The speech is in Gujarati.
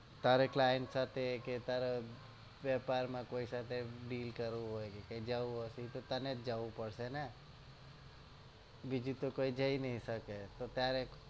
તારે client સાથે કે તારા વેપારમાં કોઈ સાથે deal કરવું હોય કે તો જાઉં જ તને જવું પડશે ને બીજું તો કોઈ જઈ નઈ શકે ને તારે